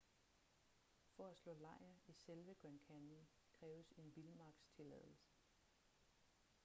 for at slå lejr i selve grand canyon kræves en vildmarkstilladelse